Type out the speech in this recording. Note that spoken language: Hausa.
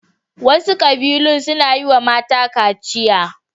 Wasu ƙabilun suna yi wa mata kaciya.